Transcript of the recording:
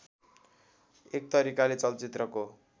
एक तरिकाले चलचित्रको